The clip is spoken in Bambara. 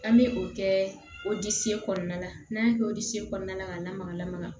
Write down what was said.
An bɛ o kɛ o disi kɔnɔna la n'an y'a kɛ o disi kɔnɔna la ka lamaga lamaga